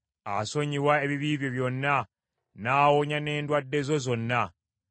Asonyiwa ebibi byo byonna, n’awonya n’endwadde zo zonna.